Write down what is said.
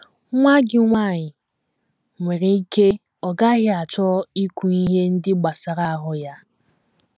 Nwa gị nwanyị nwere ike ọ gaghị achọ ikwu ihe ndị gbasara ahụ́ ya